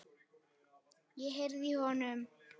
Ég heyrði í honum!